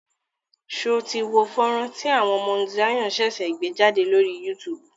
Ṣé o tí wo fọ́nrán tí àwọn Mount Zion ṣẹ̀ṣẹ̀ gbé jádè lórí YouTube?